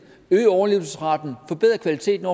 øge overlevelsesraten forbedre kvaliteten